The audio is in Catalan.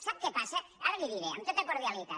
sap què passa ara li ho diré amb tota cordialitat